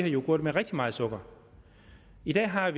yoghurter med rigtig meget sukker i dag har